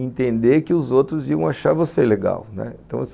entender que os outros iam achar você legal, né, então assim,